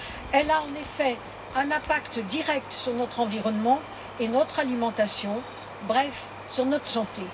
Elle a en effet un impact direct sur notre environnement et notre alimentation, bref sur notre santé.